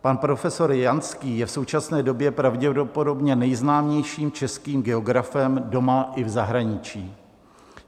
Pan profesor Janský je v současné době pravděpodobně nejznámějším českým geografem doma i v zahraničí.